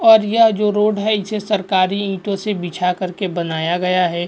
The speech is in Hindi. और यह जो रोड है इसे सरकारी ईंटों से बिछा कर के बनाया गया है।